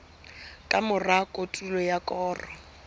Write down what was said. ka mora kotulo ya koro